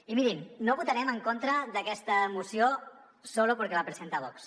i mirin no votarem en contra d’aquesta moció solo porque la presenta vox